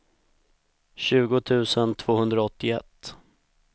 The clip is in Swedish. tjugo tusen tvåhundraåttioett